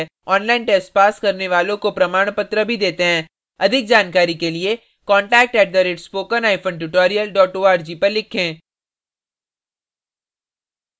online test pass करने वालों को प्रमाणपत्र भी details हैं अधिक जानकारी के लिए contact at spoken hyphen tutorial dot org पर लिखें